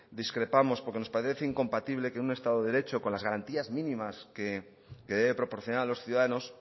discrépamos porque nos parece incompatible que un estado de derecho con las garantías mínimas que debe proporcionar a los ciudadanos